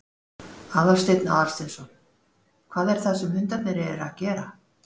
Aðalsteinn Aðalsteinsson: Hvað er það sem hundarnir eru að gera?